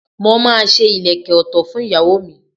Mo máa ṣe ìlékè òtò fún ìyàwó mi.